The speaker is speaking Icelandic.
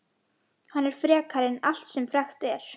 Hann er frekari en allt sem frekt er.